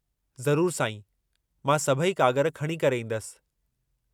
ज़रूरु साईं, मां सभई कागर खणी करे ईंदसि।